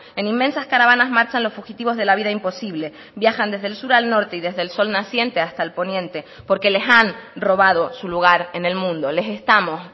en inmensas caravanas marchan los fugitivos de la vida imposible viajan desde el sur al norte y desde el sol naciente hasta el poniente porque les han robado su lugar en el mundo les estamos